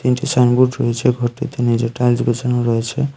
Station গুড রয়েছে ঘরটিতে নীচে টাইলস বসানো রয়েছে।